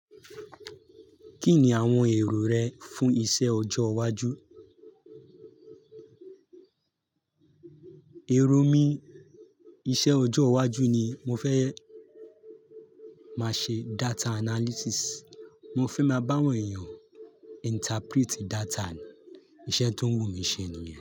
Kí ni àwọn èrò rẹ fún iṣẹ́ ọjọ́ iwájú? Èrò mi iṣẹ́ ọjọ́ iwájú ni mo fẹ́ máa ṣe data analysis. Mo fẹ́ máa bá àwọn èèyàn interprete data ni. Iṣẹ́ tó ń wù mí ṣe nìyẹn.